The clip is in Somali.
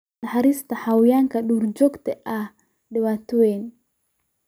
Naxariista xayawaanka duurjoogta ah waa dhibaato weyn.